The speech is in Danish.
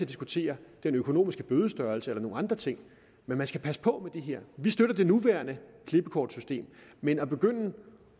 diskutere bødestørrelsen eller nogle andre ting men man skal passe på det her vi støtter det nuværende klippekortsystem men at begynde